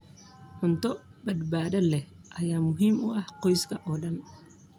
Cunto badbaado leh ayaa muhiim u ah qoyska oo dhan.